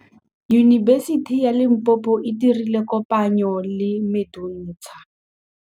Yunibesiti ya Limpopo e dirile kopanyô le MEDUNSA.